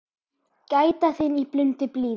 Gæta þín í blundi blíðum.